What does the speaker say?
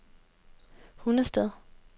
Hundested